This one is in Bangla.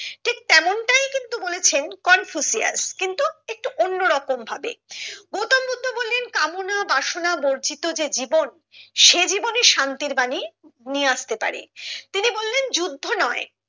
ঠিক তেমনটাই কিন্তু বলেছেন কনফুসিয়াস কিন্তু একটু অন্য রকম ভাবে গৌতম বুদ্ধ বললেন কামনার বাসনা বর্জিত যে জীবন সে জীবনী শান্তির বাণী নিয়ে আসতে পারে তিনি বললেন যুদ্ধ নয়